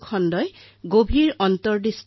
দৰাচলতে মন কী বাত মোৰ বাবে অতিশয় সাধাৰণ কাম